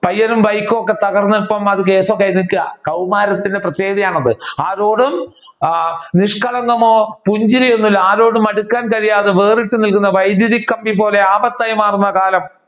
പയ്യനും ബൈക്കും ഒക്കെ തകർന്ന് ഇപ്പൊ അത് കേസ് ഒക്കെ ആയി നിക്കുക കൗമാരത്തിന്റെ പ്രത്യേകതയാണ് അത് ആരോടും നിഷ്കളങ്കമോ പുഞ്ചിരിയോ ഒന്നും ഇല്ല ആരോടും അടുക്കാൻ കഴിയാതെ വേറിട്ട് നിൽക്കുന്ന വൈദ്യുതി കമ്പി പോലെ ആപത്തായി മാറുന്ന കാലം